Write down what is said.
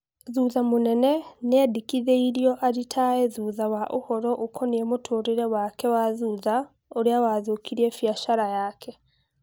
Thutha mũnene nĩendĩkithirio arĩtae thutha wa ũhoro ũkonie mũtũrĩrĩ wake wa thutha ũria wathũkirie biacara yake